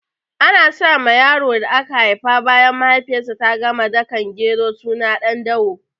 Ana sa ma yaron da aka haifa bayan mahaifiyar sa ta gama dakan gero suna Ɗandawo